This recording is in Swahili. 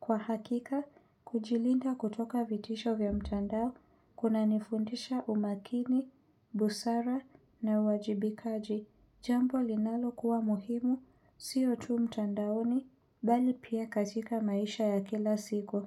Kwa hakika, kujilinda kutoka vitisho vya mtandao kunanifundisha umakini, busara na uwajibi kaji. Jambo linalokuwa muhimu, siyo tu mtandaoni, bali pia katika maisha ya kila siku.